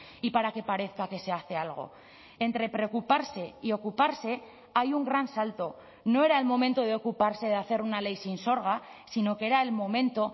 y para que parezca que se hace algo entre preocuparse y ocuparse hay un gran salto no era el momento de ocuparse de hacer una ley sinsorga sino que era el momento